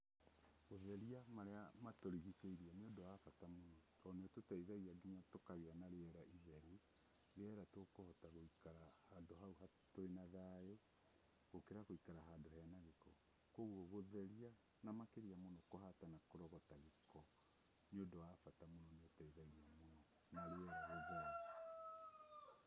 Gũtheria marĩa matũrigicĩirie nĩ ũndũ wa bata mũno tondũ nĩ ũtũteithagia nginya tũkagĩa na rĩera itheru. Rĩera tũkũhota gũikara hau twĩna thayũ, gũkĩra gũikara handũ hena gĩko. Koguo gũtheria na makĩria mũno kũhata na kũrogota gĩko, nĩ ũndũ wa bata mũno na nĩ ũteithagia mũno na riera rĩtheru.